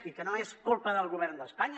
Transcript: i que no és culpa del govern d’espanya